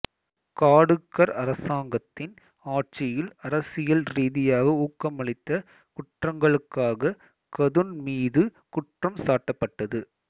காடூக்கர் அரசாங்கத்தின் ஆட்சியில் அரசியல் ரீதியாக ஊக்கமளித்த குற்றங்களுக்காக கதுன் மீது குற்றம் சாட்டப்பட்டது